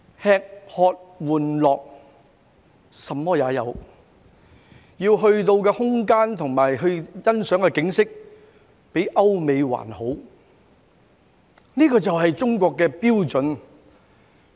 吃喝玩樂，甚麼也有，可到的空間和欣賞的景色較歐美還好，這便是中國的標準。